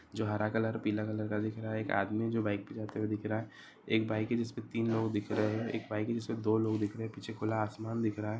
जो हरा कलर पीला कलर का देख रहा है एक बाइक है जिसमें तीन लोग दिख रहे एक बाइक है जिसपे दो दिख रहे है पीछे खुला आसमान दिख रहा है।